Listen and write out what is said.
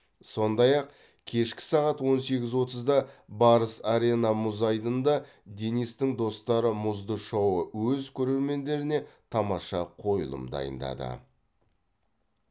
сондай ақ кешкі сағат он сегіз отызда барыс арена мұз айдынында денистің достары мұзды шоуы өз көрермендеріне тамаша қойылым дайындады